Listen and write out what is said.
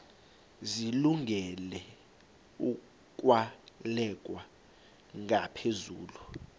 zilungele ukwalekwa ngaphezulu